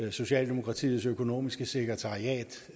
og socialdemokratiets økonomiske sekretariat